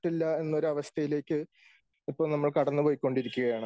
പറ്റില്ല എന്നൊരു അവസ്ഥയിലേക്ക് ഇപ്പോൾ നമ്മൾ കടന്നു പോയിക്കൊണ്ടിരിക്കുകയാണ്.